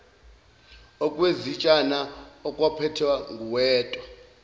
okwezitshana okwakuphethwe nguweta